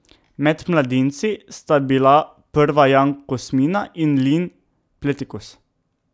Med mladinci sta bila prva Jan Kosmina in Lin Pletikos.